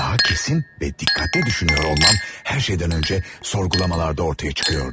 Daha kesin və dikkatli düşünüyor olmam hər şeydən öncə sorgulamalarda ortaya çıxıyordu.